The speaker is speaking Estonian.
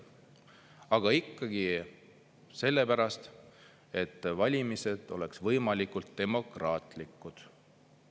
Aga ikkagi sellepärast, et valimised oleksid võimalikult demokraatlikud.